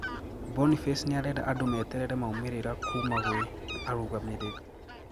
Boniface niarenda andũ meterere maumĩrĩra kuma gwĩ arũgamĩrĩri